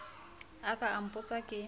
a ka a mpotsa ke